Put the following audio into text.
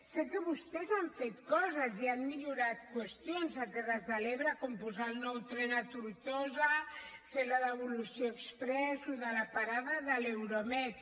sé que vostès han fet coses i han millorat qüestions a les terres de l’ebre com posar el nou tren a tortosa fer la devolució exprés això de la parada de l’euromed